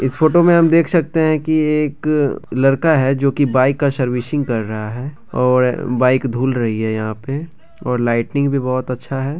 इस फोटो में हम देख सकते हैं कि एक लड़का है जो की बाइक का सर्विसिंग कर रहा है और बाइक धुल रही है यहाँ पैर और लाइटिंग भी बहुत अच्छा है।